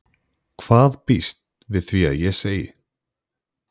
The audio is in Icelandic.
Hvað býst við því að ég segi?